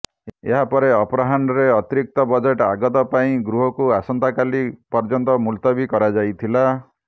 ଏହାପରେ ଅପରାହ୍ନରେ ଅତିରିକ୍ତ ବଜେଟ ଆଗତ ପରେ ଗୃହକୁ ଆସନ୍ତା କାଲି ପର୍ଯ୍ୟନ୍ତ ମୁଲତବୀ କରାଯାଇଥିଲା